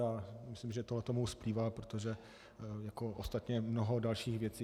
A myslím, že tohle mu splývá, protože... jako ostatně mnoho dalších věcí.